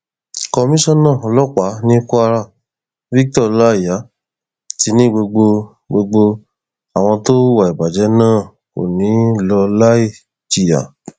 komisanna ọlọpàá ní kwara victor ọláíyà ti ní gbogbo gbogbo àwọn tó hùwà ìbàjẹ náà kò ní í lọ láì jìyà